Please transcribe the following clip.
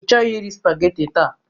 Ịchọghị iri spageti taa?